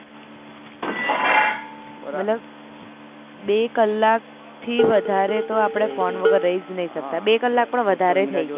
મતલબ બે કલાક થી વધારે આપડે ફોન વગર રહી જ નહી સકતા બે કલાક પણ વધારે થઇ ગયા